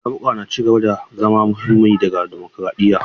Zaɓuka na ci gaba da zama muhimmi ga dimokuraɗiyya.